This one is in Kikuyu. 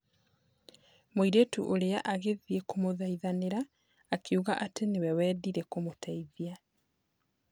Mũirĩtu ũrĩa agĩthiĩ kũmũthaithanĩra akiuga atĩ niwe wendire kũmũteithia.